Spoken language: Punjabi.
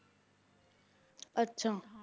ਆਚਾ ਹਾਂ